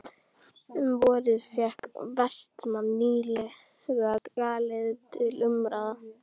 Um vorið fékk Vestmann nýlega galeiðu til umráða.